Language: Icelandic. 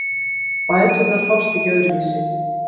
Bæturnar fást ekki öðruvísi